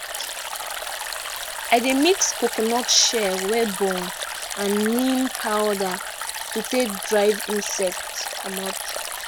i dey mix coconut shell wey burn and neem powder to take drive insect comot